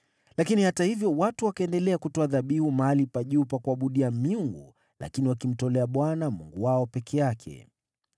Lakini hata hivyo watu wakaendelea kutoa dhabihu mahali pa juu pa kuabudia miungu, lakini wakimtolea Bwana Mungu wao peke yake.